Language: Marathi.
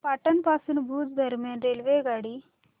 पाटण पासून भुज दरम्यान रेल्वेगाडी